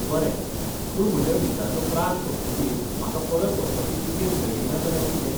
बरें, पूण म्हज्या विजाचो प्राझ सोंपतकीर म्हाका परत वचपाची तिकेट मेळ्ळी ना जाल्यार कितें?